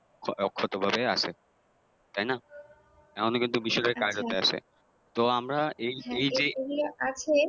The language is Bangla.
অক্ষত ভাবে আছে তাইনা । এখনও কিন্তু বিষয়টা কায়রোতে আছে তো আমরা এই এইকে